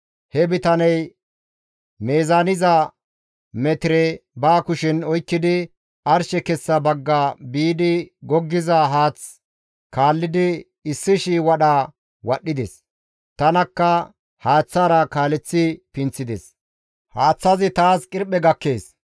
He bitaney meezaaniza metire ba kushen oykkidi, arshe kessa bagga biidi goggiza haath kaallidi 1,000 wadha wadhdhides. Tanakka haaththaara kaaleththi pinththides; haaththazi taas qirphe gakkees.